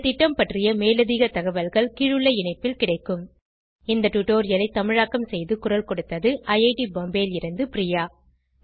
இந்த திட்டம் பற்றி மேலதிக தகவல்கள் கீழுள்ள இணைப்பில் கிடைக்கும் இந்த டுடோரியலை தமிழாக்கம் செய்து குரல் கொடுத்தது ஐஐடி பாம்பேவில் இருந்து பிரியா